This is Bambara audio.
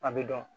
A bɛ dɔn